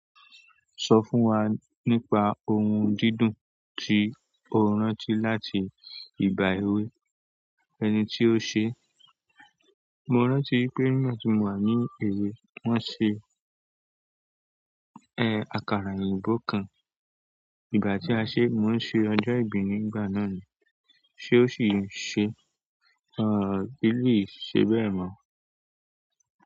Sọ fún wa nípa ohun dídùn tí o rántí láti ìgbà èwe, ẹni tí ó ṣe? Mo rántí pé nígbà tí mò wà ní èwe, wọ́n ṣe ẹ. Àkàrà òyìnbó kan. Ìgbà tí a ṣe, mò ń ṣe ọjọ́ ìbí nígbà náà ni. Ṣé ó ṣì n se? Àn, ele yìí ṣe bẹ́ẹ̀ mọ́.